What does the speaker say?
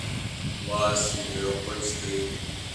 Waa sidee qoyskayagu?